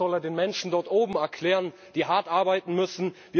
Das soll er den Menschen dort oben erklären, die hart arbeiten müssen.